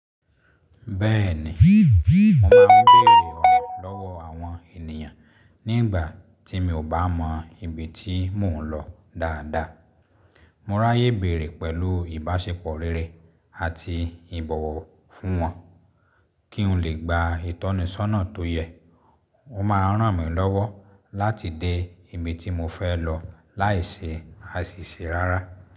Bẹ́ẹ̀ni, mo máa ń bèèrè ọ̀nà lọ́wọ́ àwọn ènìyàn nígbà tí mi ò bá mọ ibi tí mò ń lọ dáadáa. Mo ráyè béèrè pẹ̀lú ìbáṣepọ̀ rere àti ìbọ̀wọ̀ fún wọn kí n lè gba ìtọ́nisọ́nà tó yẹ. O máa ràn mí lọ́wọ́ láti dé ibi tí mo fẹ́ lọ láìṣe àṣìṣe rárá.